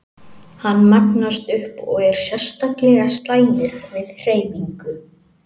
Hann magnast upp og er sérstaklega slæmur við hreyfingu.